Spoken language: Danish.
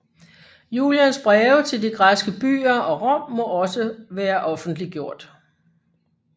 Julians breve til de græske byer og Rom må også være offentliggjort